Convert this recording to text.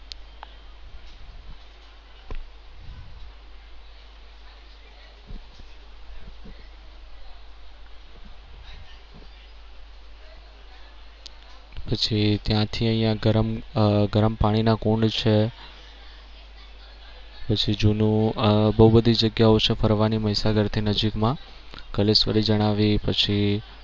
પછી ત્યાંથી અહિયાં ગરમ આહ ગરમ પાણી ના કુંડ છે. પછી જૂનું આહ બહુ બધી જગ્યાઓ છે ફરવાની મહીસાગરની નજીક માં કલેશ્વરી જણાવી પછી